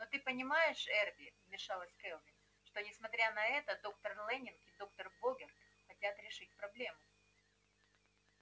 но ты понимаешь эрби вмешалась кэлвин что несмотря на это доктор лэннинг и доктор богерт хотят решить проблему